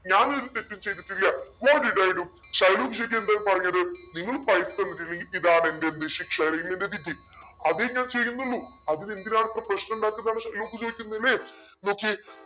ഞാനൊരു തെറ്റും ചെയ്തിട്ടില്ല what did i do? Shylock ശരിക്ക് എന്താ ഇ പറഞ്ഞത് നിങ്ങൾ പൈസ തന്നിട്ടില്ലെങ്കിൽ ഇതാ നിന്റെ ശിക്ഷ അല്ലെങ്കിൽ വിധി അതേ ഞാൻ ചെയ്യുന്നുള്ളൂ. അതിനെന്തിനാണ് ഇത്ര പ്രശ്നമുണ്ടാകുന്നെന്നാണ് ഷൈലോക്ക് ചോദിക്കുന്നതല്ലേ okay